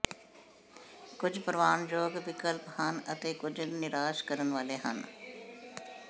ਕੁਝ ਪ੍ਰਵਾਨਯੋਗ ਵਿਕਲਪ ਹਨ ਅਤੇ ਕੁਝ ਨਿਰਾਸ਼ ਕਰਨ ਵਾਲੇ ਹਨ